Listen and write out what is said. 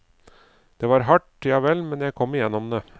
Det var hardt, javel, men jeg kom gjennom det.